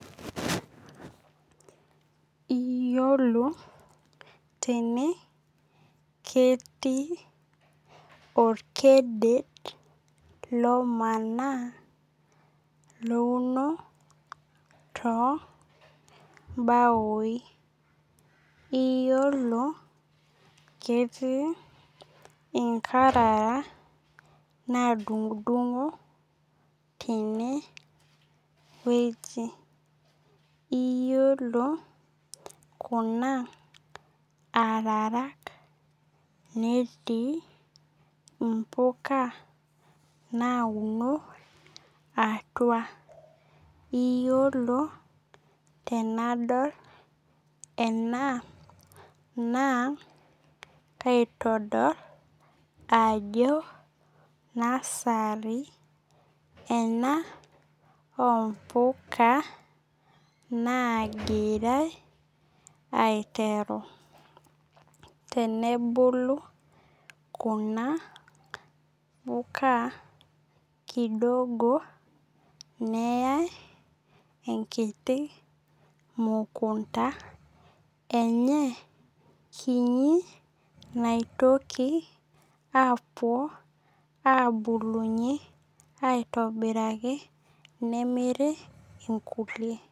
Iyiolo tene ketii orkeded lomona louno toobaoi. Iyiolo keeti inkarara nadung'udung'o tene. Iyiolo kuna ararak netii impuka nauno atua. Iyiolo tenadol enaa naa kaitodol ajo nursery ena oo mpuka naigirai aiteru. Tenebulu kuna puka kidogo neyai enkiti mukunta enye kinyi naitoki apuo abilulunye aitobiraki nemiri inkulie.